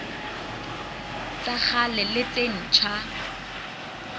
tsa kgale le tse ntjha